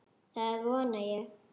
Það vona ég